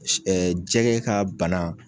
jɛgɛ ka bana.